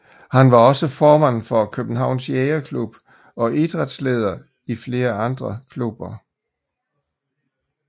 Han var også formand for Københavns Jægerklub og idrætsleder i flere andre klubber